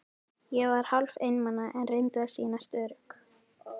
Ég var hálf einmana, en reyndi að sýnast ör- ugg.